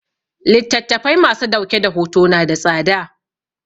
Littattafai ma su dauke da hoto na da tsada